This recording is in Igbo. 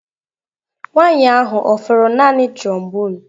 Nwanyị ahụ ọ fụrụ naanị trombone?